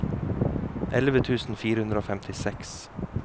elleve tusen fire hundre og femtiseks